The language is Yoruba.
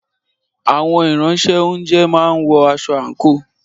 Àwọn Ìránṣẹ́-oúnjẹ máa ń wọ aṣọ àǹkóò